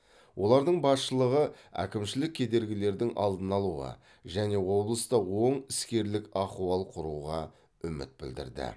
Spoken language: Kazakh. олардың басшылығы әкімшілік кедергілердің алдын алуға және облыста оң іскерлік ахуал құруға үміт білдірді